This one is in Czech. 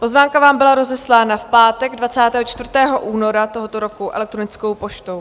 Pozvánka vám byla rozeslána v pátek 24. února tohoto roku elektronickou poštou.